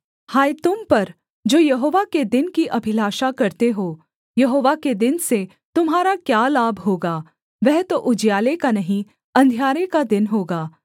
हाय तुम पर जो यहोवा के दिन की अभिलाषा करते हो यहोवा के दिन से तुम्हारा क्या लाभ होगा वह तो उजियाले का नहीं अंधियारे का दिन होगा